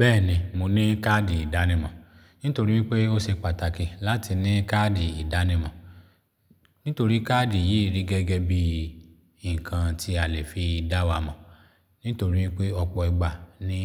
Bẹ́ẹ̀ni mo ní káàdì ìdánimọ̀, nítorí pé ó ṣe pàtàkì láti ní káàdì ìdánimọ̀. Nítorí káàdì yìí rí gẹ́gẹ́ bí nǹkan tí a lè fi dá wa mọ̀. Nítorí pé ọ̀pọ̀ ìgbà ni